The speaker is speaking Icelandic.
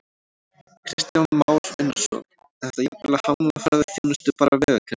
Kristján Már Unnarsson: Er þetta jafnvel að hamla ferðaþjónustu, bara vegakerfið?